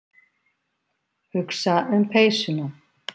Hugsa um peysuna.